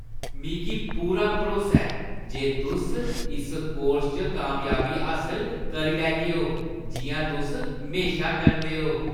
मिगी पूरा भरोसा ऐ जे तुस इस कोर्स च कामयाबी हासल करी लैगेओ जिʼयां तुस हमेशा करदे ओ।